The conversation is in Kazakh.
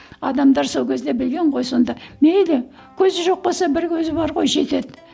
адамдар сол кезде білген ғой сонда мейлі көзі жоқ болса бір көзі бар ғой жетеді